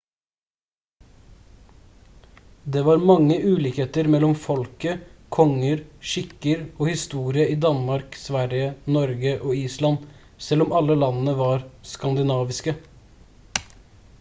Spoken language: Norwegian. det var mange ulikheter mellom folket konger skikker og historie i danmark sverige norge og island selv om alle landene var «skandinaviske»